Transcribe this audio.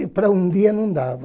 E para um dia não dava.